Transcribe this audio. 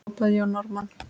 hrópaði Jón Ármann.